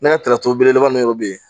Ne ka belebeleba ninnu dɔw bɛ yen